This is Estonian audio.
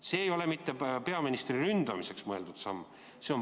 See ei ole mitte peaministri ründamiseks mõeldud samm.